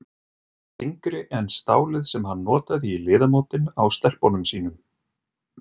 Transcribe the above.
Þyngri en stálið sem hann notaði í liðamótin á stelpunum sínum.